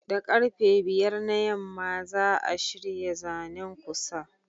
Da karfe 5 na yamma za'a shirya zanen ku Sir